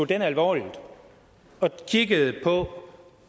den alvorligt og kigge på